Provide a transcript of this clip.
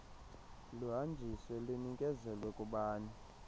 luhanjiswe lunikezelwe kubani